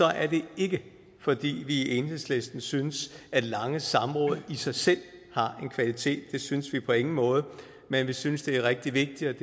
er det ikke fordi vi i enhedslisten synes at lange samråd i sig selv har en kvalitet det synes vi på ingen måde men vi synes det er rigtig vigtigt